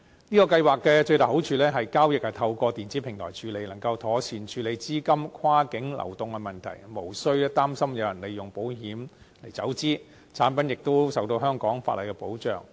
這項計劃的最大好處是，交易是透過電子平台處理，能夠妥善處理資金跨境流動的問題，無須擔心有人利用保險來走資，產品亦受到香港法例的保障。